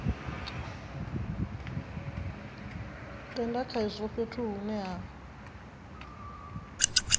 tenda khazwo fhethu hune ha